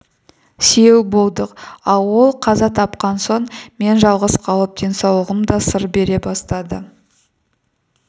сүйеу болдық ал ол қаза тапқан соң мен жалғыз қалып денсаулығым да сыр бере бастады